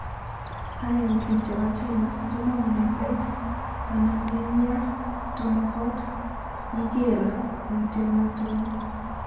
Sayansi chepo China komwa kole pik konameng ya tomokot iger kuiteninaton.